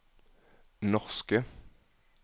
norske